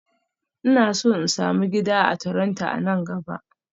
Ina so in sami gida a Toronto a nan gaba